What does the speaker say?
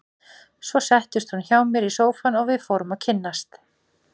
Svo settist hún hjá mér í sófann og við fórum að kynnast.